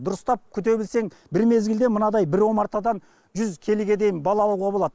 дұрыстап күте білсең бір мезгілде мынадай бір омартадан жүз келіге дейін бал алуға болады